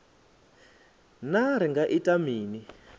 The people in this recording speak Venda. naa ri nga ita mini